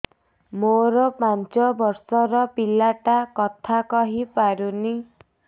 ମୋର ପାଞ୍ଚ ଵର୍ଷ ର ପିଲା ଟା କଥା କହି ପାରୁନି